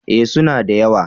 Eh su na da yawa